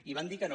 i van dir que no